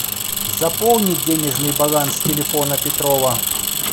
заполни денежный баланс телефона петрова